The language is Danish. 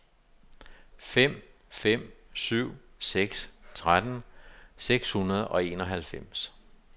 fem fem syv seks tretten seks hundrede og enoghalvfems